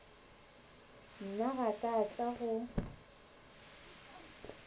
nna ga ka tla go